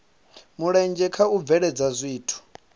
mulenzhe kha u bveledza zwithu